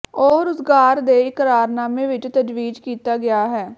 ਉਹ ਰੁਜ਼ਗਾਰ ਦੇ ਇਕਰਾਰਨਾਮੇ ਵਿੱਚ ਤਜਵੀਜ਼ ਕੀਤਾ ਗਿਆ ਹੈ